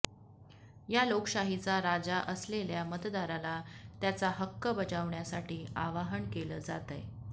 या लोकशाहीचा राजा असलेल्या मतदाराला त्याचा हक्क बजावण्यासाठी आवाहन केलं जातंय